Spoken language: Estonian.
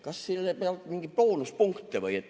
" Kas selle pealt saab mingeid boonuspunkte või?